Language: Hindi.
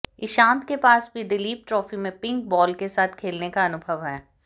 इशांत के पास भी दलीप ट्रॉफी में पिंक बॉल के साथ खेलने का अनुभव है